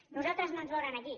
a nosaltres no ens veuran aquí